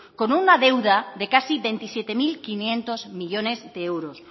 con una deuda de casi veintisiete mil quinientos millónes de euros